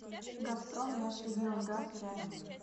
газпром межрегионгаз рядом